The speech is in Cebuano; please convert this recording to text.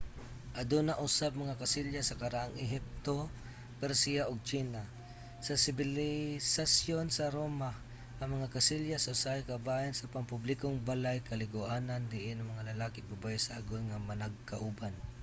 aduna usab mga kasilyas sa karaang ehipto persia ug tsina. sa sibilisasyon sa roma ang mga kasilyas usahay kabahin sa pampublikong balay-kaliguanan diin ang mga lalaki ug babaye sagol nga managkauban